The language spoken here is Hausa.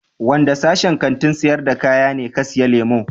Wanda sashin Kantin sayar da kaya ne ka siya lemu?